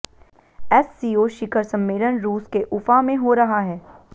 SCO शिखर सम्मेलन रूस के उफा में हो रहा है